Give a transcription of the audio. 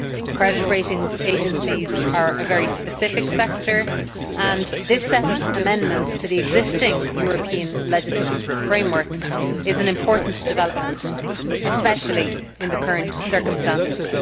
Credit ratings agencies are a very specific sector, and this set of amendments to the existing European legislative framework is an important development, especially in the current circumstances.